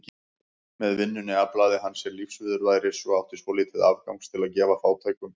Með vinnunni aflaði hann sér lífsviðurværis og átti svolítið afgangs til að gefa fátækum.